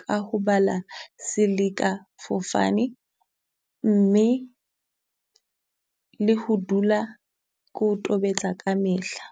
ka ho bala seleka fofane, mme le ho dula ko o tobetsa kamehla.